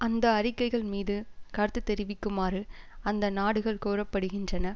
அந்த அறிக்கைகள் மீது கருத்து தெரிவிக்குமாறு அந்த நாடுகள் கோரப்படுகின்றன